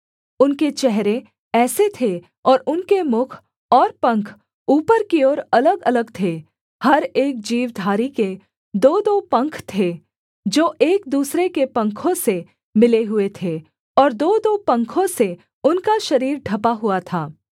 उनके चेहरे ऐसे थे और उनके मुख और पंख ऊपर की ओर अलगअलग थे हर एक जीवधारी के दोदो पंख थे जो एक दूसरे के पंखों से मिले हुए थे और दोदो पंखों से उनका शरीर ढँपा हुआ था